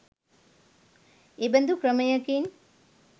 එබඳු ක්‍රමයකින්